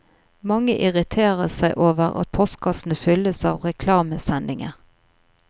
Mange irriterer seg over at postkassene fylles av reklamesendinger.